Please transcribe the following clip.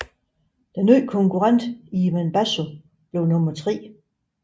Den nye konkurrent Ivan Basso blev nummer tre